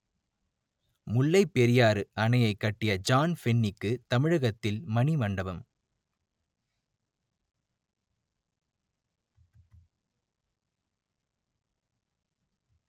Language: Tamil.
முல்லைப் பெரியாறு அணையைக் கட்டிய ஜான் பென்னிக்கு தமிழகத்தில் மணி மண்டபம்